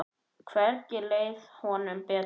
Hvergi leið honum betur.